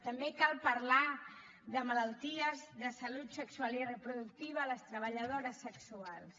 també cal parlar de malalties de salut sexual i reproductiva a les treballadores sexuals